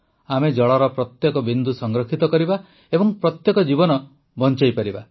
ଆମେ ଜଳର ପ୍ରତ୍ୟେକ ବିନ୍ଦୁ ସଂରକ୍ଷିତ କରିବା ଏବଂ ପ୍ରତ୍ୟେକ ଜୀବନ ବଂଚାଇବା